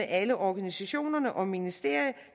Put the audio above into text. alle organisationerne og ministeriet